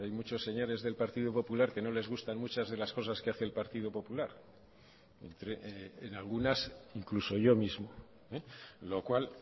muchos señores del partido popular que no les gustan muchas de las cosas que hace el partido popular en algunas incluso yo mismo lo cual